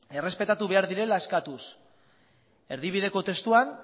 errespetatu behar direla eskatuz erdibideko testuan